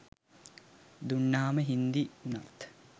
දුන්නහම හින්දි වුනත්